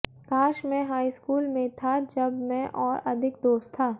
काश मैं high school में था जब मैं और अधिक दोस्त था